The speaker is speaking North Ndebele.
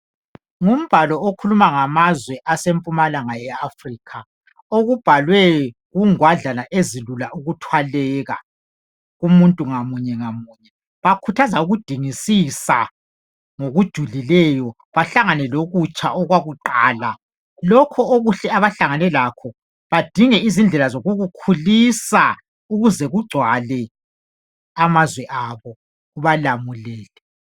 Ngumbalo ukhuluma ngamazwe asempumalanga ye Africa. Okubhalwe kungwadlana ezilula ukuthwaleka kumuntu ngamunye ngamunye. Bakhuthaza ukudingisisa ngokujulileyo bahlangane lokutsha okwakuqala. Lokho okuhle abahlangane lakho badinge indlela zokukukhulisa ukuze kugcwale amazwe abo kubalamulele.